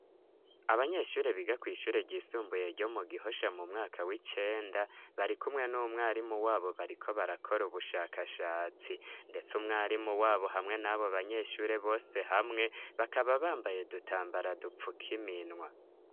abanyeshure biga kw'ishure ry'isumbuye ryo mu gihosha mumwaka w'icenda barikumwe n'umwarimu wabo bariko barakora ubushakashatsi ndetse umwarimu wabo hamwe n'abo banyeshure bose hamwe bakaba bambaye dutambara dupfukiminwa